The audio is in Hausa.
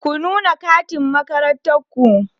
Ku nuna katin makarantar ku!